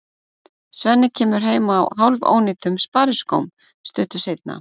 Svenni kemur heim á hálfónýtum spariskóm stuttu seinna.